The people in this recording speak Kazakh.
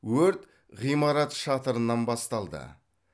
өрт ғимарат шатырынан басталды